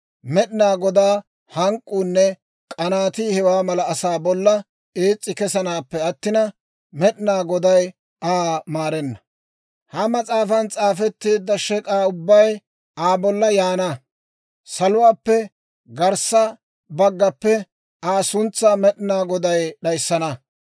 Med'inaa Godaa hank'k'uunne k'anaatii hewaa mala asaa bolla ees's'i kesanaappe attina, Med'inaa Goday Aa maarenna. Ha mas'aafan s'aafetteedda shek'aa ubbay Aa bolla yaana; saluwaappe garssa baggaappe Aa suntsaa Med'inaa Goday d'ayissana.